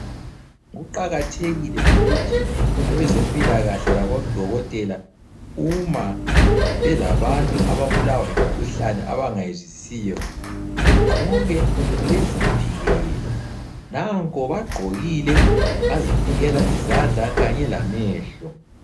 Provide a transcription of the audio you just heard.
Kuqakathekile ukuthi abezempilakahle labodokotela uma belabantu ababulawa yimkhuhlane abangayizwisisiyo begqoke bezivikele. Nanko bagqokile bazivikela izandla kanye lamehlo.